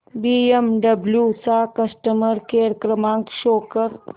BMW चा customer care क्रमांक show कर